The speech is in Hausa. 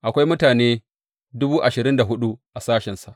Akwai mutane dubu ashirin da hudu a sashensa.